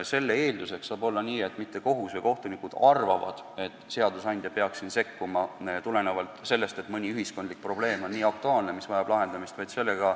Selle eeldus pole, et kohus või kohtunikud arvavad, et seadusandja peaks sekkuma, kuna mõni ühiskondlik probleem on nii aktuaalne, et vajab lahendamist.